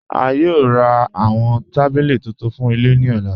A yòò rá awọn tabílí tuntun fún ilẹ̀ ni ọ̀là.